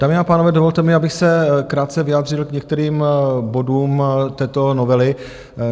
Dámy a pánové, dovolte mi, abych se krátce vyjádřil k některým bodům této novely.